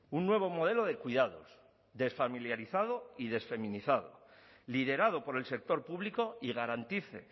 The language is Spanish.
un nuevo modelo de cuidados desfamiliarizado y desfeminizado liderado por el sector público y garantice